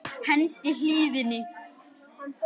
Hendið hýðinu.